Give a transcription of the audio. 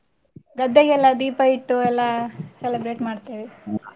ಗದ್ದೆಗೆಲ್ಲ ದೀಪ ಇಟ್ಟು ಎಲ್ಲಾ, celebrate ಮಾಡ್ತೇವೆ.